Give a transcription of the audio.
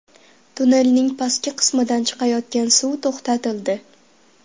Tunnelning pastki qismidan chiqayotgan suv to‘xtatildi.